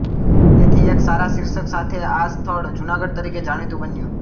તેથી એક સારાં શીર્ષક સાથે આ સ્થળ જુનાગઢ તરીકે જાણીતું બન્યું